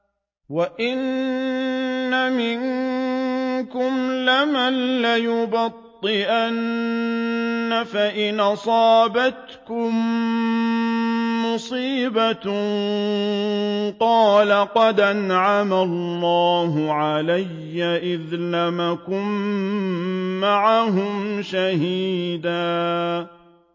وَإِنَّ مِنكُمْ لَمَن لَّيُبَطِّئَنَّ فَإِنْ أَصَابَتْكُم مُّصِيبَةٌ قَالَ قَدْ أَنْعَمَ اللَّهُ عَلَيَّ إِذْ لَمْ أَكُن مَّعَهُمْ شَهِيدًا